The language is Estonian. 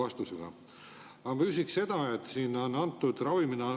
Aga ma küsiks seda.